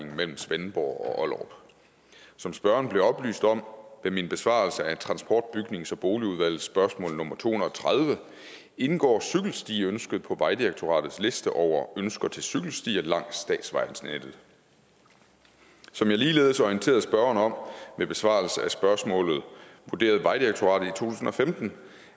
mellem svendborg og ollerup som spørgeren blev oplyst om ved min besvarelse af transport bygnings og boligudvalgets spørgsmål nummer to hundrede og tredive indgår cykelstiønsket på vejdirektoratets liste over ønsker til cykelstier langs statsvejnettet som jeg ligeledes orienterede spørgeren om ved besvarelsen af spørgsmålet vurderede vejdirektoratet i tusind og femten